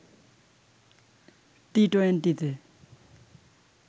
টি-টোয়েন্টিতে